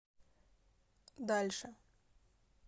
дальше